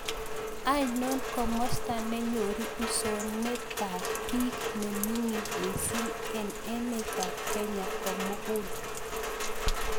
Ainon komosta ne nyoru usoonetap peek ne ming'in miising' eng' emetap Kenya komugul